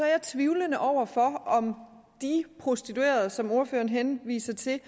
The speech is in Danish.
jeg tvivlende over for om de prostituerede som ordføreren henviser til